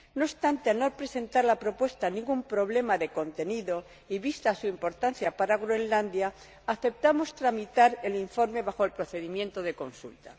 no obstante, al no presentar la propuesta ningún problema de contenido, y vista su importancia para Groenlandia, aceptamos tramitar el informe bajo el procedimiento de consulta.